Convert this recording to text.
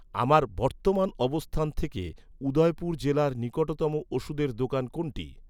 আমার বর্তমান অবস্থান থেকে, উদয়পুর জেলার নিকটতম ওষুধের দোকান কোনটি?